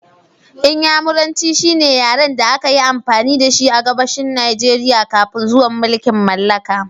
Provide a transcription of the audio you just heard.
Inyamuranci shine yaren da aka yi amfani da shi a Gabashin Najeriya kafin zuwan mulkin mallaka